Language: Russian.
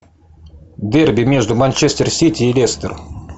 дерби между манчестер сити и лестер